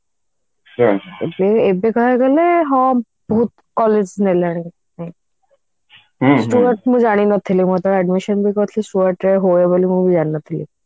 ଏବେ କା ଦିନରେ ହଁ ବହୁତ college ହେଲାଣି stuart ମୁଁ ଜାଣି ନଥିଲି ମୁଁ ଯେତେବେଳେ admission ବି କରିଥିଲି stuart ରେ ହୁଏ ବୋଲି ବି ମୁଁ ଜାଣି ନଥିଲି